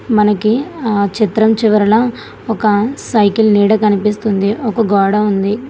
మనకి ఆ చిత్రం చివరన ఒక సైకిల్ నీడ కనిపిస్తుంది ఒక గోడ ఉంది.